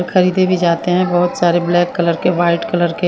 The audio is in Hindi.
खरीदे भी जाते हैं बहुत सारे ब्लैक कलर के व्हाईट कलर के--